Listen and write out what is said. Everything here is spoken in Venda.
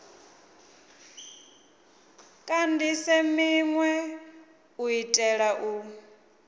kandise minwe u itela u